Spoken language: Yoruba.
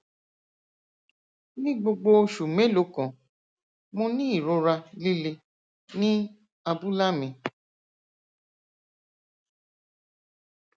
ni gbogbo oṣù mélòó kan mo ní ìrora líle ní abúlá mi